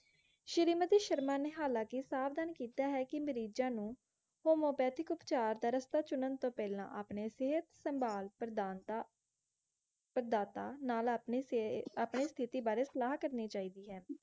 ਸ਼੍ਰੀਮਤੀ ਸ਼ਰਮਾ ਨਿਹਾਲ ਕਿ ਸਾਵਧਾਨ ਕੀਤਾ ਹੈ ਕਿ ਮਰੀਜਾਂ ਨੂੰ homeopathic ਉਪਚਾਰ ਦਾ ਰਸਤਾ ਚੁਨਣ ਤੋਂ ਪਹਿਲਾਂ ਆਪਣੇ ਸਿਹਤ ਸੰਭਾਲ ਪ੍ਰਦਾਤਾ ਪ੍ਰਦਾਤਾ ਨਾਲ ਆਪਣੀ ਸਿਹਤ ਸਥਿਤੀ ਬਾਰੇ ਸਲਾਹ ਕਰਨੀ ਚਾਹੀਦੀ ਹੈ